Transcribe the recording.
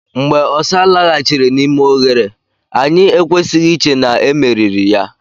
Mgbe osa laghachiri n'ime oghere, anyị ekwesịghị iche na e meriri ya.